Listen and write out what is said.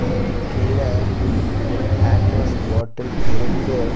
அதுக்கு கீழ ஒரு ஹேண்டுவாஷ் பாட்டல் இருக்கு.